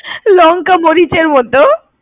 লঙ্কা মরিচের মত।